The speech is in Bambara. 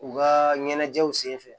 U ka ɲɛnajɛw senfɛ